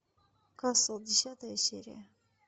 касл десятая серия